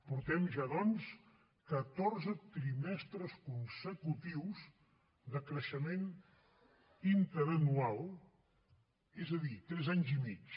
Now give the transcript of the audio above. portem ja doncs catorze trimestres consecutius de creixement interanual és a dir tres anys i mig